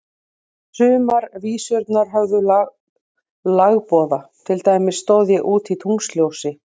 Sumar vísurnar höfðu lagboða, til dæmis Stóð ég úti í tunglsljósi.